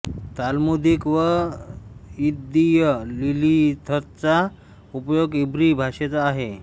ताल्मुदिक व यिददीय लिलीथचा उपयोग इब्री भाषेचा आहे